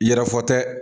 I yɛrɛ fɔ tɛ